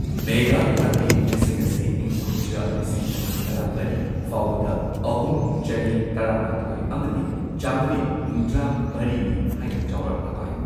ꯃꯦꯘꯥꯂꯥꯌꯥꯒꯤ ꯃꯤꯁꯤꯡ ꯑꯁꯤ ꯏꯪ ꯀꯨꯝꯖꯥ ꯂꯤꯁꯤꯡ ꯑꯅꯤ ꯇꯔꯥꯃꯔꯤ ꯐꯥꯎꯕꯗ ꯑꯍꯨꯝ, ꯆꯅꯤ ꯇꯔꯥꯃꯥꯊꯣꯏ ꯑꯃꯗꯤ ꯆꯝꯃꯔꯤ ꯍꯨꯝꯗ꯭ꯔꯥ ꯃꯔꯤꯅꯤ ꯍꯥꯏꯅ ꯆꯧꯔꯥꯛꯅ ꯄꯥꯏ꯫